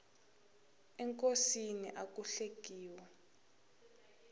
enkosini aku hlekiwi